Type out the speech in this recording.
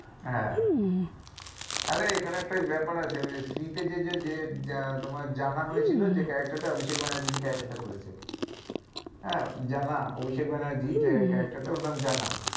হ্যাঁ আরে এখানে একটা ব্যাপার আছে ওই স্ত্রী তে যে যে তোমার জানা হয়েছিল যে character টা অভিষেক ব্যানার্জি যে character টা করেছে আহ জানা অভিষেক ব্যানার্জি যে character টা ওর নাম জানা,